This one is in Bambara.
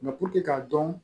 k'a dɔn